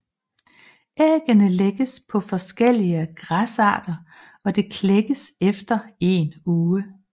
Ægget lægges på forskellige græsarter og det klækkes efter en uge